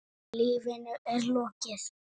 Lífinu er lokið.